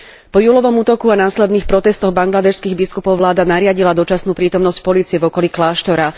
Po júlovom útoku a následných protestoch bangladéšskych biskupov vláda nariadila dočasnú prítomnosť polície v okolí kláštora.